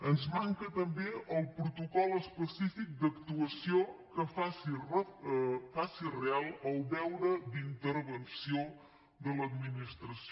ens manca també el protocol específic d’actuació que faci real el deure d’intervenció de l’administració